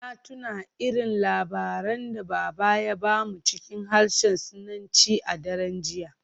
Na tuna irin labaran da Baba ya ba mu cikin harshen Sinanci a daren jiya.